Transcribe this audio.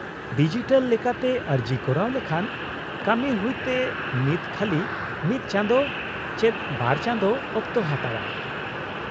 -Digital ᱞᱮᱠᱟᱛᱮ ᱟᱹᱨᱡᱤ ᱠᱚᱨᱟᱣ ᱞᱮᱠᱷᱟᱱ ᱠᱟᱹᱢᱤ ᱦᱩᱭᱛᱮ ᱱᱤᱛ ᱠᱷᱟᱹᱞᱤ ᱢᱤᱫ ᱪᱟᱸᱫᱳ ᱪᱮᱫ ᱵᱟᱨ ᱪᱟᱸᱫᱳ ᱚᱠᱛᱚ ᱦᱟᱛᱟᱣᱼᱟ ᱾